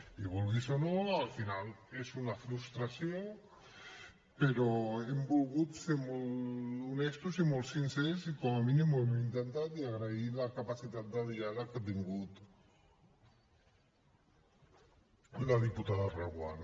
i vulguis o no al final és una frustració però hem volgut ser molt honestos i molts sincers i com a mínim ho hem intentat i agrair la capacitat de diàleg que ha tingut la diputada reguant